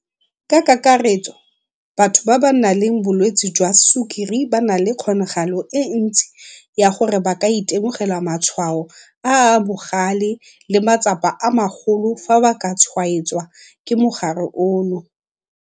Ka kakaretso, batho ba ba nang le bolwetse jwa sukiri ba na le kgonagalo e ntsi ya gore ba ka itemogela matshwao a a bogale le matsapa a magolo fa ba ka tshwaetswa ke mogare ono.